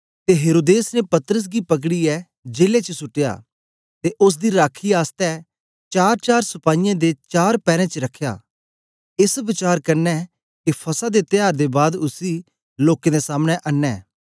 ते हेरोदेस ने पतरस गी पकड़ीयै जेले च सुट्टया ते ओसदी राखी आसतै चारचार सपाईयें दे चार पैरें च रखया एस वचार कन्ने के फसह दे त्यार दे बाद उसी लोकें दे सामने अनें